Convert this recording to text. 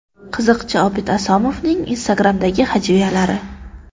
Qiziqchi Obid Asomovning Instagram’dagi hajviyalari .